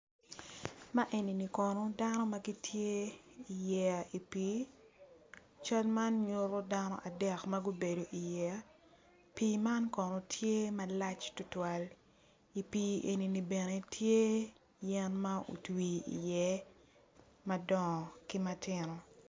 Ma eni kono dano ma gitye i yeya i pii cal man nyuto dano adek ma gubedo i yeya pii man kono tye malac tutwal i pii eni ni bene yel ma otwi iye madongo ki matino